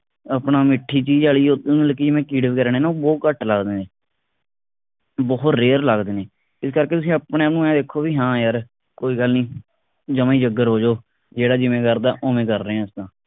ਆਪਣਾ ਮਿੱਠੀ ਚੀਜ ਵਾਲੀ ਕੀੜੇ ਵਗੈਰਾ ਨੇ ਨਾ ਬਹੁਤ ਘੱਟ ਲੱਗਦੇ ਨੇ ਬਹੁਤ rare ਲੱਗਦੇ ਨੇ ਇਸ ਕਰਕੇ ਤੁਸੀ ਆਪਣੇ ਆਪ ਨੂੰ ਐ ਰੱਖੋ ਬਈ ਹਾ ਯਾਰ ਕੋਈ ਗੱਲ ਨੀ ਜਮਾ ਈ ਹੋਜੋ ਜਿਹੜਾ ਜਿਵੇਂ ਕਰਦਾ ਉਵੇਂ ਕਰ ਰਹੇ ਆ ਉਸ ਤਰ੍ਹਾਂ